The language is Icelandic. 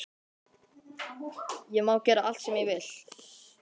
Ég má gera allt sem ég vil.